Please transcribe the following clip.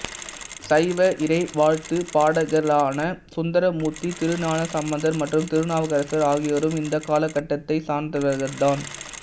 சைவ இறைவாழ்த்து பாடகர்களான சுந்தரமூர்த்தி திருஞான சம்பந்தர் மற்றும் திருநாவுக்கரசர் ஆகியோரும் இந்த காலகட்டத்தை சார்ந்தவர்கள் தான்